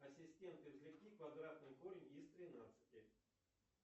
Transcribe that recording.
ассистент извлеки квадратный корень из тринадцати